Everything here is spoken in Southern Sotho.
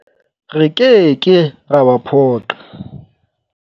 Re ke ke ra ba phoqa.